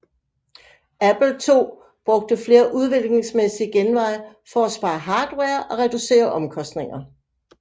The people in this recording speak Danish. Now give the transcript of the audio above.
Apple II brugte flere udviklingsmæssige genveje for at spare hardware og reducere omkostninger